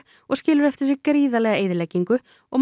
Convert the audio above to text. og skilur eftir sig gríðarlega eyðileggingu og